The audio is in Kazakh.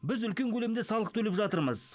біз үлкен көлемде салық төлеп жатырмыз